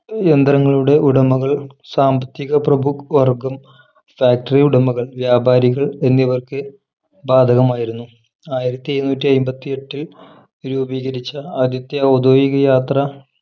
യന്ത്രങ്ങളുടെ ഉടമകൾ സാമ്പത്തിക പ്രഭുവർഗ്ഗം factory ഉടമകൾ വ്യാപാരികൾ എന്നിവർക്ക് ബാധകമായിരുന്നു ആയിരത്തിഎഴുന്നൂറ്റിഐമ്പതിഎട്ടിൽ രൂപീകരിച്ച ആദ്യത്തെ ഔദ്യോഗിക യാത്രാ